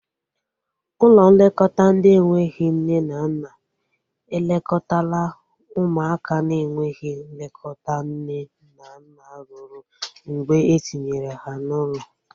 Ụlọ nlekọta ndị enweghị nne na nna elekọtala ụmụaka na enweghị nlekọta nne na nna rue mgbe etinyere ha n'ụlọ